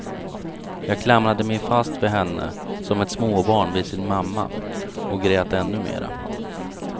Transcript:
Jag klamrade mig fast vid henne som ett småbarn vid sin mamma och grät ännu mera.